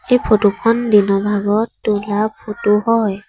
এই ফটো খন দিনৰ ভাগত তোলা ফটো হয়।